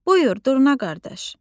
Buyur, Durna qardaş.